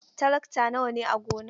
Tarakta nawa ne a gonar?